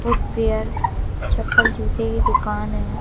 Footwear चप्पल जूते की दुकान हैं।